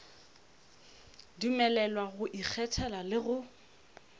dumelelwa go ikgethela le go